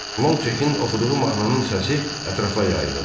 Lonqçekin oxuduğu mahnının səsi ətrafa yayılırdı.